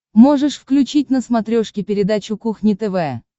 можешь включить на смотрешке передачу кухня тв